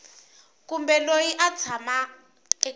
kumbe loyi a tshamaka eka